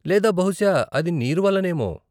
లేదా బహుశా అది నీరు వల్లనేమో.